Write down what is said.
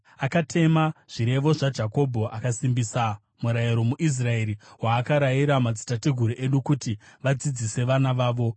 Akatema zvirevo zvaJakobho akasimbisa murayiro muIsraeri, waakarayira madzitateguru edu kuti vadzidzise vana vavo,